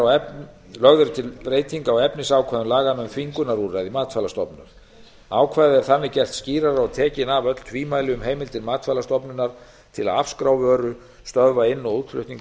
umhverfissýni lögð er til breyting á efnisákvæðum laganna um þvingunarúrræði matvælastofnunar ákvæðið er þannig gert skýrara og tekin af öll tvímæli um heimildir matvælastofnunar til að afskrá vöru stöðva inn og útflutning